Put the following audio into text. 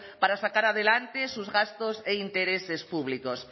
para sacar adelante sus gastos e intereses públicos